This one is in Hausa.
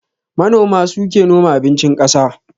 Manoma suke noma abincin ƙasa